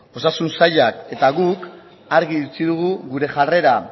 osasun sailak eta guk argi utzi dugu gure jarrera